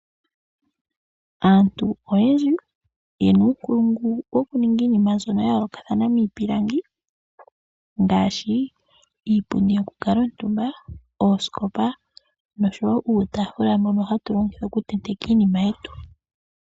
Aantu oyendji ye na uunkulungu wo ku ninga iinima mbyoka ya yoolokathana miipilangi ngaashi iipundi yokukala omutumba, oosikopa noshowo uutafula mboka ha tu longitha okutenteka iinima yetu.